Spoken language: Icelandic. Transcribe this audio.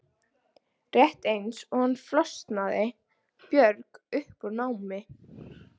Rétt eins og hann flosnaði Björg upp úr námi.